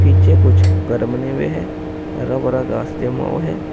पीछे कुछ घर बने हुए हैं हरा भरा घास जमा हुआ है।